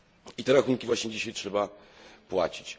I te rachunki właśnie dzisiaj trzeba płacić.